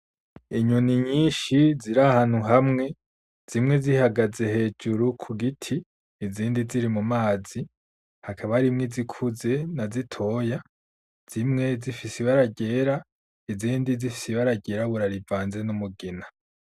Inyoni nyinshi ziri ahantu hamwe, zimwe zihagaze hejuru ku giti izindi ziri mu mazi, hakaba harimwo izikuze na zitoya, zimwe zifise ibara ryera izindi zifise ibara ryirabura rivanze n'umugina.